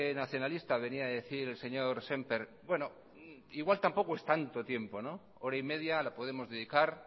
nacionalista venía a decir el señor sémper bueno igual tampoco es tanto tiempo hora y media la podemos dedicar